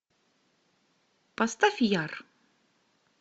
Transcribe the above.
поставь яр